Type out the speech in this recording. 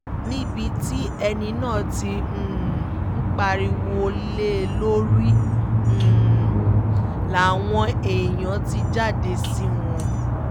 níbi tí ẹni náà ti um ń pariwo lé e lórí um làwọn èèyàn ti jáde sí wọn